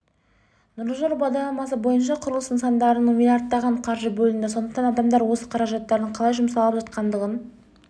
нұрлы жол бағдарламасы бойынша құрылыс нысандарына миллиардтаған қаржы бөлінді сондықтан адамдар осы қаражаттардың қалай жұмсалып жатқандығын